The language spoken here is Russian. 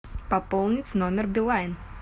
пополнить номер билайн